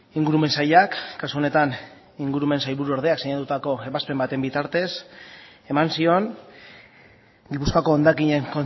ingurumen sailak kasu honetan ingurumen sailburuordeak sinatutako ebazpen baten bitartez eman zion gipuzkoako hondakinen